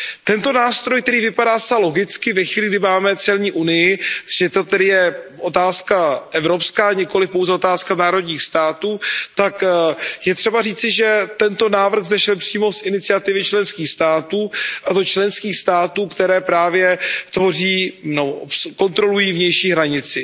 Tento nástroj, který vypadá zcela logicky ve chvíli, kdy máme celní unii, že to tedy je otázka evropská, nikoli pouze otázka národních států, tak je třeba říci, že tento návrh vzešel přímo z iniciativy členských států, a to členských států, které právě kontrolují vnější hranici.